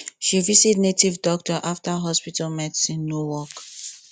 she visit native doctor after hospital medicine no work